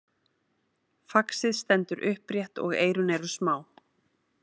Faxið stendur upprétt og eyrun eru smá.